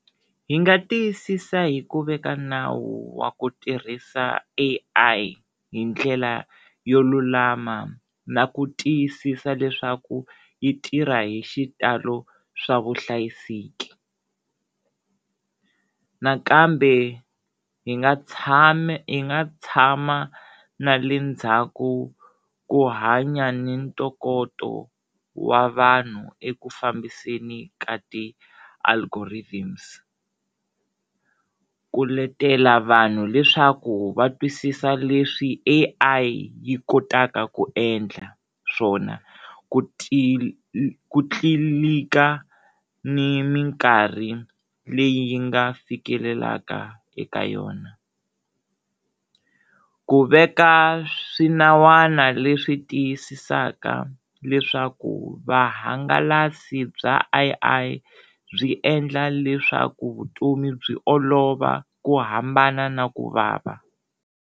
Hi nga tiyisisa hi ku veka nawu wa ku tirhisa A_I hi ndlela yo lulama na ku tiyisisa leswaku yi tirha hi xitalo swa vuhlayiseki, nakambe hi nga tshami hi nga tshama na le ndzhaku ku hanya ni ntokoto wa vanhu eku fambiseni ka ti algorithms ku letela vanhu leswaku va twisisa leswi A_I yi kotaka ku endla swona ku ku tlilika ni minkarhi leyi nga fikelelaka eka yona, ku veka swinawana leswi tiyisisaka leswaku vahangalasa bya A_I byi endla leswaku vutomi byi olova ku hambana na ku vava.